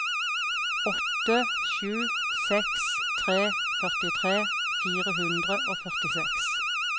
åtte sju seks tre førtitre fire hundre og førtiseks